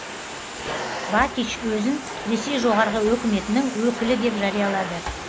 бакич өзін ресей жоғарғы өкіметінің өкілі деп жариялады